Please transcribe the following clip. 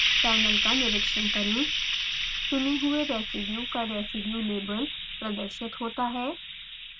panel का निरिक्षण करें चुने हुए residue का residue label प्रदर्शित होता है